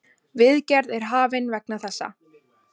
Viðgerð er hafin vegna þessa.